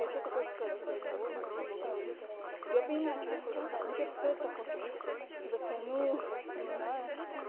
что ты хочешь сказать говорю ну вот у меня мазок взяли она такая да я понимаю что ты хочешь но что ты сказать то хочешь я такая ну не знаю